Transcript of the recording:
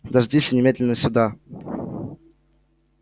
дождись и немедленно сюда